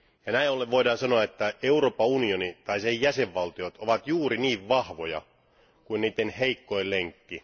Näin ollen voidaan sanoa, että Euroopan unioni tai sen jäsenvaltiot ovat juuri niin vahvoja kuin niiden heikoin lenkki.